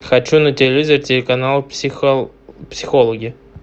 хочу на телевизоре телеканал психологи